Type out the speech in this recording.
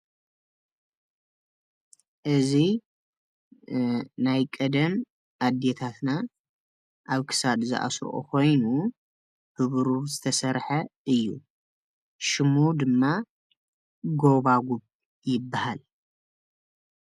እዚ ናይ ቀደም ኣዴታትና ኣብ ክሳድ ዝኣስረኦ ኮይኑ ብቡሩር ዝተሰርሐ እዩ፡፡ ሽሙ ድማ ጎባጉብ ይባሃል፡፡